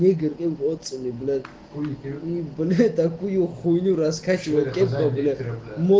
игры эмоциями блять он блядь такую хуйню раскачивает этом директором ооо